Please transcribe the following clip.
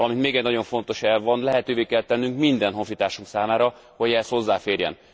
Valamint még egy nagyon fontos elv van lehetővé kell tennünk minden honfitársunk számára, hogy ehhez hozzáférjen.